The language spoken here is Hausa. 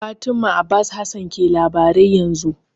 Fatima Abbas Hassan ke labarai yanzu.